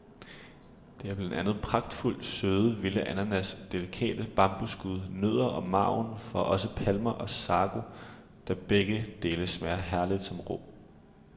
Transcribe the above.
Det er blandt andet pragtfuldt søde, vilde ananas, delikate bambusskud, nødder og marven fra også palmer og sago, der begge dele smager herligt som rå.